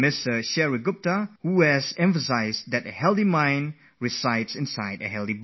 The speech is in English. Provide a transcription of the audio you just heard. Shrey Gupta has stressed the point that a healthy mind resides in a healthy body only